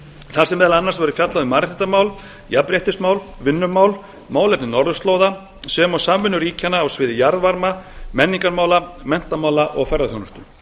þar sem meðal annars var fjallað um mannréttindamál jafnréttismál vinnumál málefni norðurslóða sem og samvinnu ríkjanna á sviði jarðvarma menningarmála menntamála og ferðaþjónustu